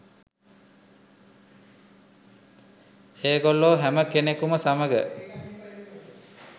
ඒගොල්ලේ හැම කෙනෙකුම සමග